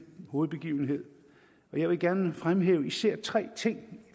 hovedbegivenhed og jeg vil gerne fremhæve især tre ting